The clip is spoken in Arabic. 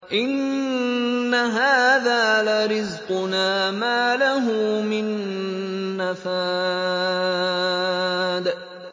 إِنَّ هَٰذَا لَرِزْقُنَا مَا لَهُ مِن نَّفَادٍ